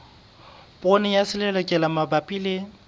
poone ya selelekela mabapi le